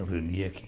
Ela reunia aqui.